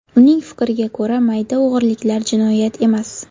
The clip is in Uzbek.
Uning fikriga ko‘ra, mayda o‘g‘riliklar jinoyat emas.